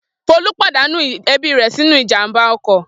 Folú pàdánù ẹbí rẹ̀ sínú ìjàmbá ọkọ̀.